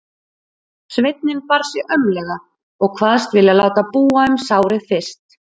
Sveinninn bar sig aumlega og kvaðst vilja láta búa um sárið fyrst.